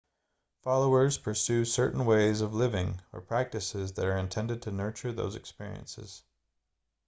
followers pursue certain ways of living or practices that are intended to nurture those experiences